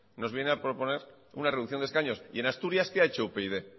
nos viene a proponer una reducción de escaños y en asturias qué ha hecho upyd